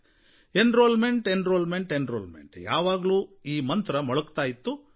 enrolment enrolment enrolment ಯಾವಾಗಲೂ ಈ ಮಂತ್ರ ಮೊಳಗ್ತಾ ಇತ್ತು